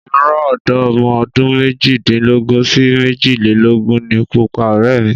Ìrọ̀ ọ̀dọ́ ọmọ ọdún méjìdínlógún sí méjìlélógún ni púpọ̀ ọ̀rẹ́ mi.